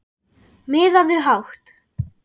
Miðaðu hátt